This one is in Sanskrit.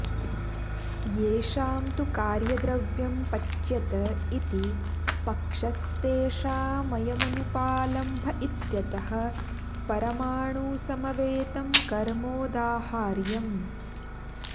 येषां तु कार्यद्रव्यं पच्यत इति पक्षस्तेषामयमनुपालम्भ इत्यतः परमाणुसमवेतं कर्मोदाहार्यम्